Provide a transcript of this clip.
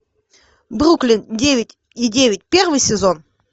бруклин девять и девять первый сезон